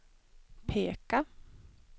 peka